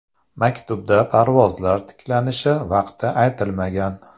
Maktubda parvozlar tiklanishi vaqti aytilmagan.